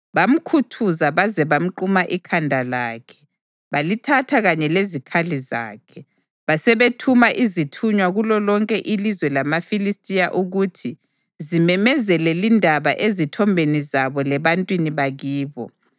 Bamkhuthuza baze bamquma ikhanda lakhe balithatha kanye lezikhali zakhe, basebethuma izithunywa kulolonke ilizwe lamaFilistiya ukuthi zimemezele lindaba ezithombeni zabo lebantwini bakibo.